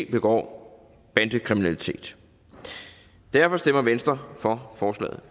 begår bandekriminalitet derfor stemmer venstre for forslaget